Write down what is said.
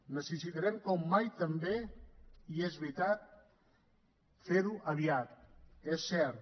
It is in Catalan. necessitarem com mai també i és veritat ferho aviat és cert